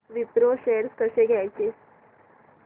Wipro shares कसे घ्यायचे